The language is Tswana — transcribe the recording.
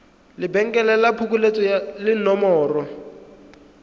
lebenkele la phokoletso le nomoro